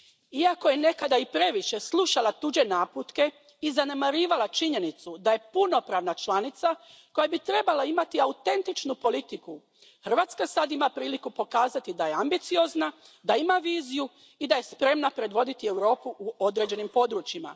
Iako je nekada i previše slušala tuđe naputke i zanemarivala činjenicu da je punopravna članica koja bi trebala imati autentičnu politiku, Hrvatska sad ima priliku pokazati da je ambiciozna, da ima viziju i da je spremna predvoditi Europu u određenim područjima.